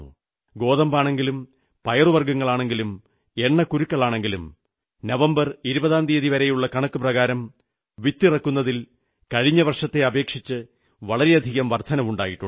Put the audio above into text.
ഗോതമ്പാണെങ്കിലും പയറുവർഗ്ഗങ്ങളാണെങ്കിലും എണ്ണക്കുരുക്കളാണെങ്കിലും നവംബർ 20ാം തീയതി വരെയുള്ള കണക്കു പ്രകാരം വിത്തിറക്കുന്നതിൽ കഴിഞ്ഞ വർഷത്തെ അപേക്ഷിച്ച് വളരെയധികം വർധനവുണ്ടായിട്ടുണ്ട്